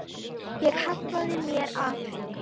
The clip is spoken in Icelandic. Ég hallaði mér að henni.